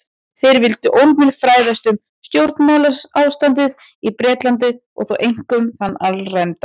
Þeir vildu ólmir fræðast um stjórnmálaástandið í Bretlandi- og þá einkum þann alræmda